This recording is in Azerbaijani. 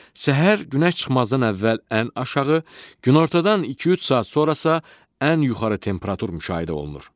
Səhər günəş çıxmazdan əvvəl ən aşağı, günortadan 2-3 saat sonra isə ən yuxarı temperatur müşahidə olunur.